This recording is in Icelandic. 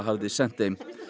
hafði sent